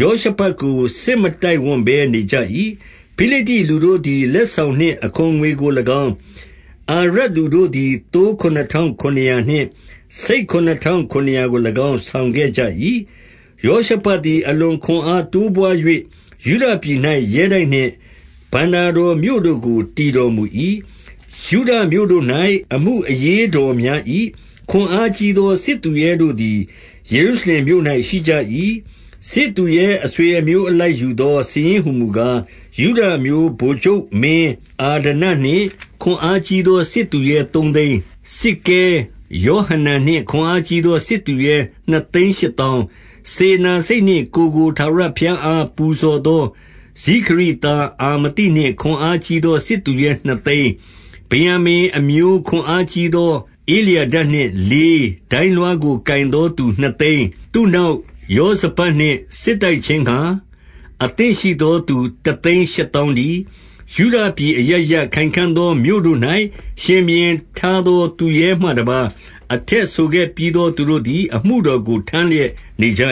ယောရှဖတ်ကို စစ်မတိုက်ဝံ့ဘဲ နေကြ၏။ 11 ဖိလိတ္တိလူတို့သည် လက်ဆောင်နှင့် အခွန်ငွေကို၎င်း၊ အာရပ်လူတို့သည် သိုးခုနစ်ထောင်ခုနစ်ရာနှင့် ဆိတ်ခုနစ်ထောင်ခုနစ်ရာကို၎င်း ဆောင်ခဲ့ကြ၏။ 12 ယောရှဖတ်သည် အလွန်ခွန်အားတိုးပွား၍၊ ယုဒပြည်၌ရဲတိုက်နှင့် ဘဏ္ဍာတော်မြို့တို့ကို တည်တော် မူ၏။ 13 ယုဒမြို့တို့၌ အမှုအရေးတော်များ၏။ ခွန်အား ကြီးသော စစ်သူရဲတို့သည် ယေရုရှလင်မြို့၌ ရှိကြ၏။ 14 စစ်သူရဲအဆွေအမျိုး အလိုက်ယူသော စာရင်း ဟူမူကား၊ ယုဒအမျိုး ဗိုလ်ချုပ်မင်းအာဒနနှင့် ခွန်အား ကြီးသော စစ်သူရဲသုံးသိန်း၊ 15 စစ်ကဲယောဟနန်နှင့်ခွန်အားကြီးသော စစ်သူရဲ နှစ်သိန်းရှစ်သောင်း၊ 16 စေတနာစိတ်နှင့်ကိုယ်ကို ထာဝရဘုရားအား ပူဇော်သော ဇိခရိသားအာမသိနှင့် ခွန်အားကြီးသော စစ်သူရဲနှစ်သိန်း၊ 17 ဗင်္ယာမိန်အမျိုး ခွန်အားကြီးသော ဧလျာဒနှင့် လေး၊ ဒိုင်းလွှားကို ကိုင်သောသူနှစ်သိန်း၊ 18 သူ့နောက်ယောဇဗဒ်နှင့် စစ်တိုက်ခြင်းငှါ၊ အသင့် ရှိသောသူ တသိန်းရှစ်သောင်းတည်း။ 19 ယုဒပြည်အရပ်ရပ်၊ ခိုင်ခံ့သောမြို့တို့၌ ရှင်ဘုရင် ထားသောသူရဲမှတပါး၊ အထက်ဆိုခဲ့ပြီးသော သူတို့သည် အမှုတော်ကို ထမ်းလျက်နေကြ